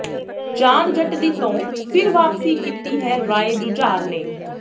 ਜਾਨ ਜੱਟ ਦੀ ਤੋਂ ਫਿਰ ਵਾਪਸੀ ਕਿੱਤੀ ਹੈ ਰਾਏ ਜੁਝਾਰ ਨੇ